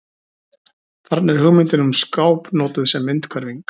Þarna er hugmyndin um skáp notuð sem myndhverfing.